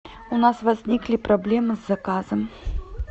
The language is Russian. у нас возникли проблемы с заказом